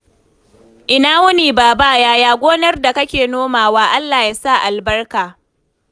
Ina wuni baba? Yaya gonar da kake nomawa? Allah ya sa albarka.